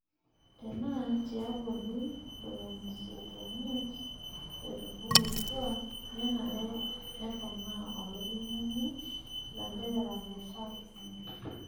Tenaa tiabori ntomoni isiet omiet otubulutwa, nenare neponaa olairemoni ilanterera metaa kumok.